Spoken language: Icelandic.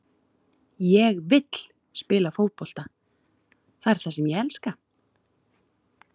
Ég vill spila fótbolta, það er það sem ég elska.